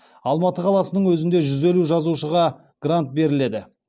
алматы қаласының өзінде жүз елу жазушыға грант беріледі